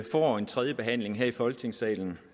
får en tredjebehandling her i folketingssalen